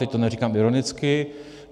Teď to neříkám ironicky.